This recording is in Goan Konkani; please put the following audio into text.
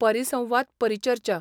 परिसंवाद परिचर्चा.